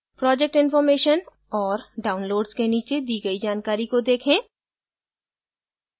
project information और downloads के नीचे दी गई जानकारी को देखें